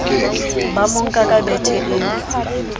ba monka ka bethe eo